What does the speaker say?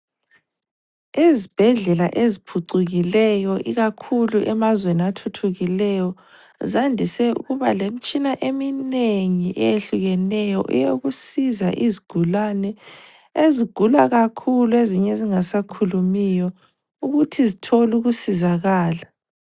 Ezibhedlela eziphucukileyo ikakhulu emazweni athuthukileyo, zandise ukuba lemtshina eminengi eyehlukeneyo eyokusiza izigulane ezigula kakhulu ezinye ezingasakhulumiyo ukuthi zithole ukusizakala.